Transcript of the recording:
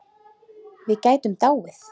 Við gætum dáið.